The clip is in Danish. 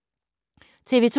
TV 2